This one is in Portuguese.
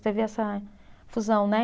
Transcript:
Teve essa fusão, né?